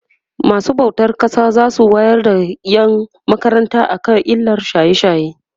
masu bautan ƙasa zasu wayar da ƴan makaranta kan illan shaye shaye